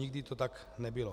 Nikdy to tak nebylo.